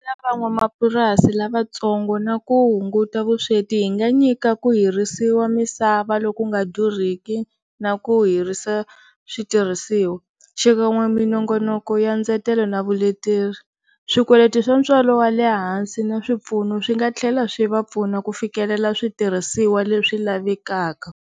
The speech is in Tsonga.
van'wamapurasi lavatsongo na ku hunguta vusweti hi nga nyika ku hirisiwa misava loku nga durhiki na ku hirisa switirhisiwa xikan'we minongonoko ya ndzetelo na vuleteri, swikweleti swa ntswalo wa le hansi na swipfuno swi nga tlhela swi va pfuna ku fikelela switirhisiwa leswi lavekaka.